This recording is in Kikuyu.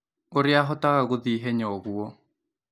ũrĩa ahotaga gũthiĩ ihenya ũguo